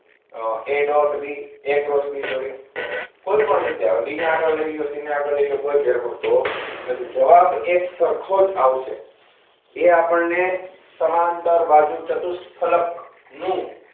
A dot B A cross B sorry કોઈ પણ રીતે આવે b ને આગળ લઈ લ્યો c ને આગળ લઈ કોઈ ફેર પડતો નથી જવાબ એકસરખો જ આવશે એ આપણને સમાંતર બાજુ ચતુષ્ફળક નું